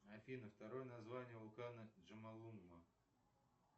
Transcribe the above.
афина второе название вулкана джомолунгма